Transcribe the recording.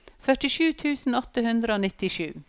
førtisju tusen åtte hundre og nittisju